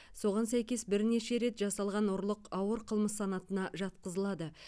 соған сәйкес бірнеше рет жасалған ұрлық ауыр қылмыс санатына жатқызылады